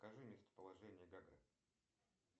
покажи мемтоположение гагры